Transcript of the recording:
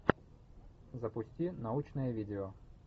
запусти научное видео